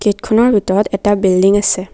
গেটখনৰ ভিতৰত এটা বিল্ডিং আছে।